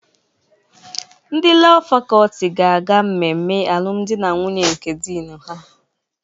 Ndị Lọọ Fakọlti ga-aga mmemme alụmdi na nwunye nke Doing her.